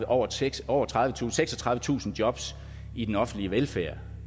over seksogtredivetusind seksogtredivetusind jobs i den offentlige velfærd